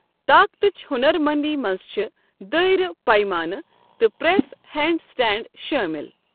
طاقتٕچ ہُنَر مٔنٛدی منٛز چھِ دٲیرٕ، پَیمانہٕ، تہٕ پریس ہینڈ سٹینڈ شٲمِل۔